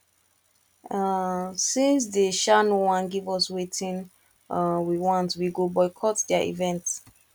um since dey um no wan give us wetin we um want we go boycott their event